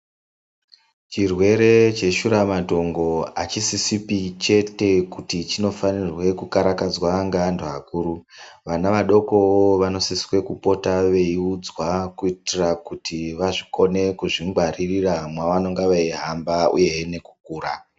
Chirwere cheshuramatongo hachisisipi chete kuti chinofanirwe kukarakadzwa ngeantu akuru. Vana vadokowo vanosiswe kupota veiudzwa kuitira kuti vakone kuzvingwaririra mwavanonga veihamba uye nekukura.